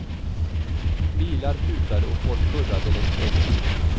Bilar tutade och folk hurrade längs vägkanten.